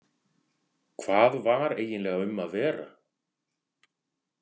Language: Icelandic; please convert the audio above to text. Hvað var eiginlega um að vera?